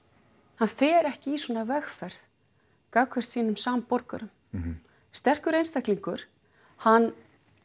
hann fer ekki í svona vegferð gegn sínum samborgurum sterkur einstaklingur hann